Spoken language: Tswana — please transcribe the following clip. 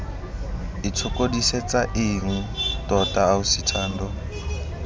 itshokodisetsa eng tota ausi thando